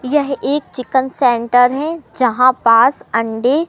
यह एक chicken centre है जहां पास अंडे--